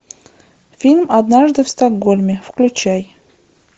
фильм однажды в стокгольме включай